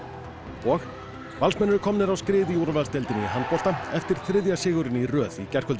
og Valsmenn eru komnir á skrið í úrvalsdeildinni í handbolta eftir þriðja sigurinn í röð í gærkvöldi